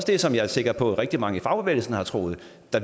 det som jeg er sikker på rigtig mange i fagbevægelsen også har troet